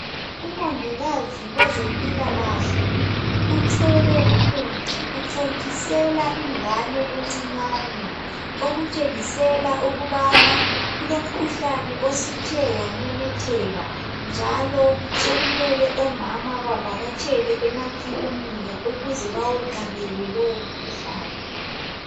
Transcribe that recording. Umongikazi wezempilakahle uthwele umuthi uthontisela ingane encinyane okutshengisela ukubana kulomkhuhlane osuthe wamemetheka njalo sokumele omama bavakatshele emakilinika ukuze bawenqabele lowomkhuhlane .